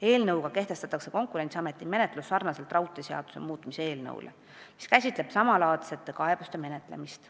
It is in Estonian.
Eelnõu eesmärk on kehtestada Konkurentsiameti menetlus sarnaselt nagu raudteeseaduse muutmise eelnõus, mis käsitleb samalaadsete kaebuste menetlemist.